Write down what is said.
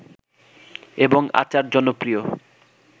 এবং আচার জনপ্রিয়